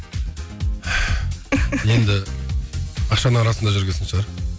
енді ақшаның арасында жүрген соң шығар